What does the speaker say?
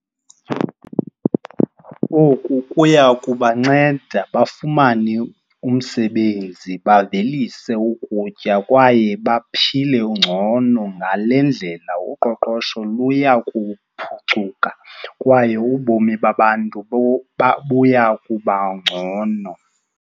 Oku kuya kubanceda bafumane umsebenzi, bavelise ukutya kwaye baphile ngcono. Ngale ndlela uqoqosho luya kuphucuka kwaye ubomi babantu buya kuba ngcono.